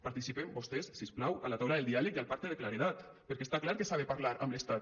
participen vostès si us plau a la taula del diàleg i al pacte de claredat perquè està clar que s’ha de parlar amb l’estat